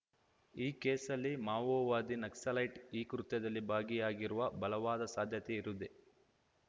ಈ ಕೇಸಲ್ಲಿ ಮಾವೋವಾದಿ ನಕ್ಸಲೈಟ್‌ ಈ ಕೃತ್ಯದಲ್ಲಿ ಭಾಗಿಯಾಗಿರುವ ಬಲವಾದ ಸಾಧ್ಯತೆ ಇರುದೆ